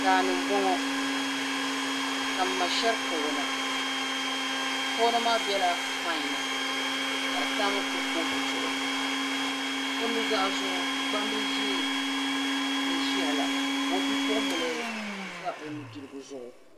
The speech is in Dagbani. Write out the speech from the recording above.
daani mboŋɔ ka mma sheri kawana kawana maa bela payi ni kadi tam kurifooti zuɣu o nuzaazuɣu gbambila ʒee n ʒiya la ka o bi'puɣim bila za o nudirigu zuɣu